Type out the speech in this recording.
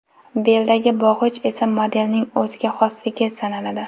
Beldagi bog‘ich esa modelning o‘ziga xosligi sanaladi.